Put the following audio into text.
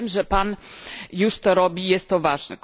Wiem, że Pan już to robi i jest to ważne.